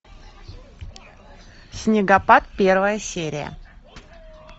снегопад первая серия